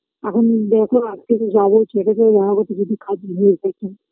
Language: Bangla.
এখন দেখো আজকে তো যাব ছেলেটা রাগ হয়েছে যদি